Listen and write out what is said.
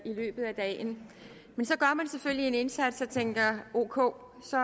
i løbet af dagen men så gør man selvfølgelig en indsats og tænker ok så